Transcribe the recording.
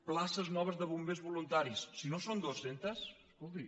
places noves de bombers voluntaris si no són dues cents escolti